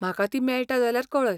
म्हाका ती मेळटा जाल्यार कळय.